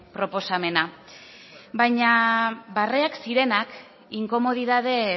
proposamena baina barreak zirenak inkomodidade